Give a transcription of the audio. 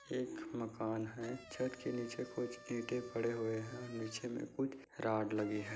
एक मकान है। छत के नीचे कुछ इंटे‌ पड़े हुए हैं और नीचे में कुछ रॉड लगी हैं।